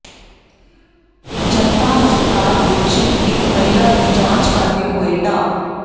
ਜਨਤਾ ਹਸਪਤਾਲ ਵਿੱਚ ਇਕ ਮਹਿਲਾ ਦੀ ਜਾਂਚ ਕਰਦੇ ਹੋਏ ਡਾ